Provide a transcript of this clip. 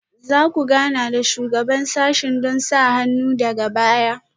Za ku gana da Shugaban sashen don sa hannun sa daga baya?